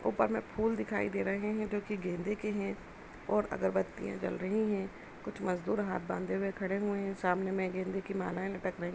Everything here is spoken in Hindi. ऊपर में फुल दिखाई दे रहे हैं जोकि गेंदे के हैं और अगरबत्तीया जल रही हैं कुछ मजदुर हाथ बंधे खड़े हुए हैं। सामने में गेंदे की मालाए लटक रही --